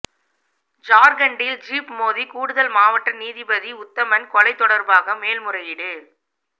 ஜார்கண்டில் jeep மோதி கூடுதல் மாவட்ட நீதிபதி உத்தமன் கொலை தொடார்பாக மேல்முறையீடு